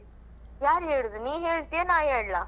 ಯಾರು ಹೇಳುದು ನೀ ಹೇಳ್ತೀಯಾ ನಾನ್ ಹೆಲ್ಲಾ?